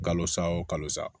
Kalo sa o kalo sa